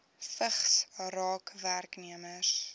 vigs raak werknemers